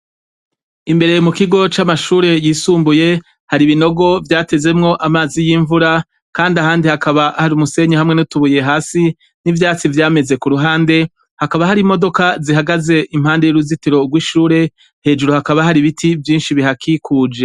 Imbere mu kigo c'amashure yisumbuye hari ibinogo vyatezemwo amazi y'imvura, kandi ahandi hakaba hari umusenyi hamwe n'utubuye hasi n'ivyatsi vyameze ku ruhande hakaba hari imodoka zihagaze impande y'uruzitiro rw'ishure hejuru hakaba hari ibiti vyinshi bihakikuje.